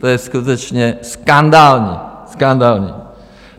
To je skutečně skandální, skandální!